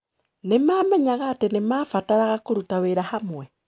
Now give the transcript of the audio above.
Nĩ maamenyaga atĩ nĩ maabataraga kũruta wĩra hamwe.